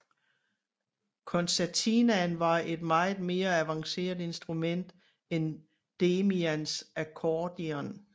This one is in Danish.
Concertinaen var et meget mere avanceret instrument end Demians Akkordion